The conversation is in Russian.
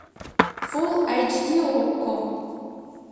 фулл айч ди окко